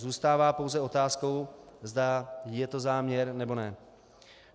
Zůstává pouze otázkou, zda je to záměr, nebo ne.